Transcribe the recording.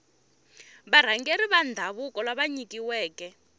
varhangeri va ndhavuko lava nyikiweke